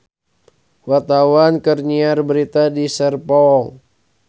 Wartawan keur nyiar berita di Serpong